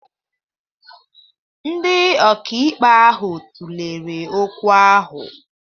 Ndị ọkàikpe ahụ tụlere okwu ahụ.